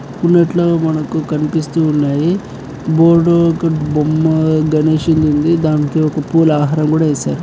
కొనేటులో మనకు కనిపిస్తూ ఉన్నాయి. బోర్డు బొమ్మ గణేశునిది ఉంది. దానికి ఒక పూల హారం కూడా వేశారు.